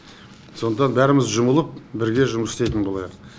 сондықтан бәріміз жұмылып бірге жұмыс істейтін болайық